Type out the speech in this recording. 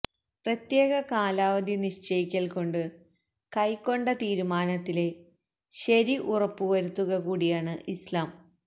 പ്രത്യേക കാലാവധി നിശ്ചയിക്കല്കൊണ്ടു കൈക്കൊണ്ട തീരുമാനത്തിലെ ശരി ഉറപ്പുവരുത്തുക കൂടിയാണ് ഇസ്ലാം